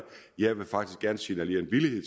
jeg vil faktisk gerne signalere en villighed